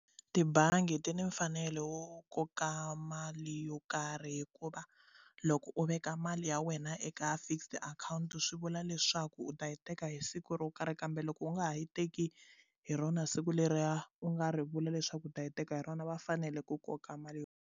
Tibangi ti ni mfanelo wo koka mali yo karhi hikuva loko u veka mali ya wena eka fixed account swi vula leswaku u ta yi teka hi siku ro karhi kambe loko u nga ha yi teki hi rona siku leriya u nga ri vula leswaku u ta yi teka hi rona va fanele ku koka mali yo.